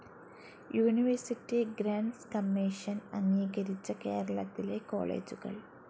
university grants commission അംഗീകരിച്ച കേരളത്തിലെ കോളേജുകൾ